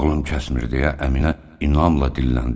Ağlım kəsmir deyə Əminə inamla dilləndi.